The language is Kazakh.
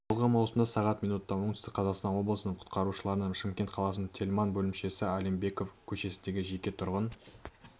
жылғы маусымда сағат минутта оңтүстік қазақстан облысының құтқарушыларына шымкент қаласының тельман бөлімшесі алимбеков көшесіндегі жеке тұрғын